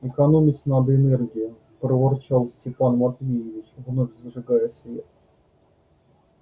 экономить надо энергию проворчал степан матвеевич вновь зажигая свет